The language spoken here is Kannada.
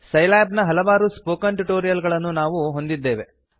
ಸೈಲ್ಯಾಬ್ ನ ಹಲವಾರು ಸ್ಪೋಕನ್ ಟ್ಯೂಟೋರಿಯಲ್ ಗಳನ್ನು ಈಗ ನಾವು ಹೊಂದಿದ್ದೇವೆ